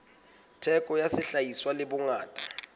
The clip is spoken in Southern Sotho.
theko ya sehlahiswa le bongata